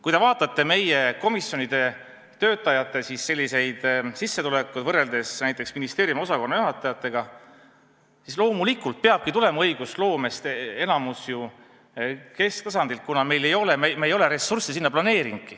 Kui te vaatate meie komisjonide töötajate sissetulekuid võrreldes näiteks ministeeriumide osakonnajuhatajate sissetulekutega, siis loomulikult, te näete, et enamik õigusloomest peabki tulema ju kesktasandilt, kuna me ei ole ressursse seal planeerinudki.